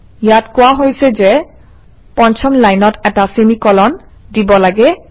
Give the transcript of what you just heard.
ইয়াত কোৱা হৈছে যে পঞ্চম লাইনত এটা চেমি কোলন দিব লাগে